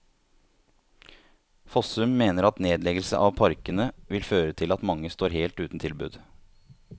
Fossum mener at nedleggelse av parkene vil føre til at mange står helt uten tilbud.